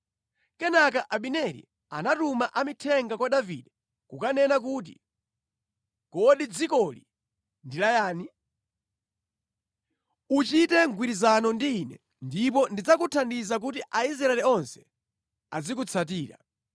Kenaka Abineri anatuma amithenga kwa Davide kukanena kuti, “Kodi dzikoli ndi la yani? Uchite mgwirizano ndi ine ndipo ndidzakuthandiza kuti Aisraeli onse azikutsatira.”